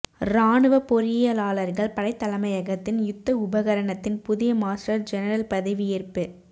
இராணுவ பொறியியலாளர்கள் படைத் தலைமையகத்தின் யுத்த உபகரணத்தின் புதிய மாஸ்டர் ஜெனரல் பதவியேற்பு